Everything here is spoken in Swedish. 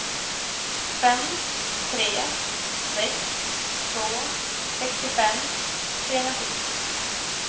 fem tre sex två sextiofem trehundrasjuttio